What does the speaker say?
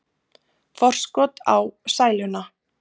Forskot á sæluna